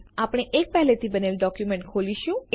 આપણે એક પેહલે થી બનેલ ડોક્યુમેન્ટ ખોલીશું